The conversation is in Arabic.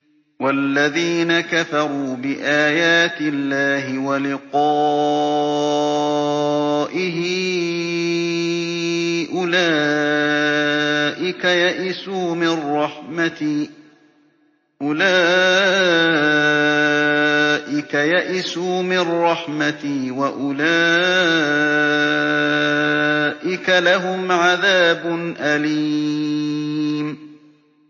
وَالَّذِينَ كَفَرُوا بِآيَاتِ اللَّهِ وَلِقَائِهِ أُولَٰئِكَ يَئِسُوا مِن رَّحْمَتِي وَأُولَٰئِكَ لَهُمْ عَذَابٌ أَلِيمٌ